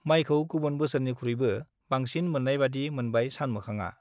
माइखौ गुबुन बोसोरनिख्रुइबो बांसिन मोन्नायबादि मोनबाय सानमोखांआ ।